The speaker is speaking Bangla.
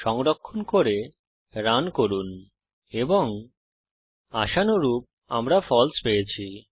সংরক্ষণ করে রান করুন এবং আশানুরূপ আমরা ফালসে পেয়েছি